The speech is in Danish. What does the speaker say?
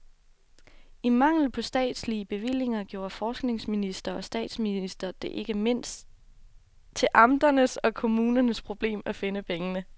I mangel på statslige bevillinger gjorde forskningsminister og statsminister det ikke mindst til amternes og kommunernes problem at finde pengene.